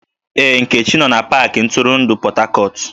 Ee, Nkechi no na pakị ntụrụndụ Port Harcourt.